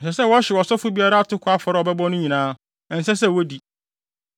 Ɛsɛ sɛ wɔhyew ɔsɔfo biara atoko afɔre a ɔbɛbɔ no nyinaa; ɛnsɛ sɛ wodi.”